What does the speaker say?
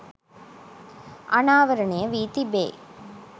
අනාවරණය වී තිබේ